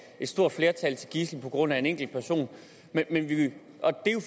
et stort flertal til gidsler på grund af en enkelt person